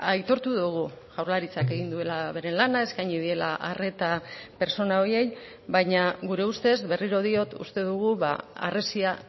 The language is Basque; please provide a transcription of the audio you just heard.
aitortu dugu jaurlaritzak egin duela bere lana eskaini diela arreta pertsona horiei baina gure ustez berriro diot uste dugu harresia